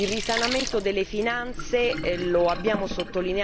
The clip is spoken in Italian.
continuano ad essere ostacoli molto forti.